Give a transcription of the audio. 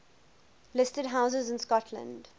listed houses in scotland